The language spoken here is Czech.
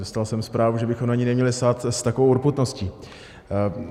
Dostal jsem zprávu, že bychom na něj neměli sahat s takovou urputností.